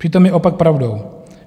Přitom je opak pravdou.